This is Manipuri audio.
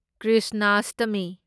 ꯀ꯭ꯔꯤꯁꯅꯥꯁꯇꯃꯤ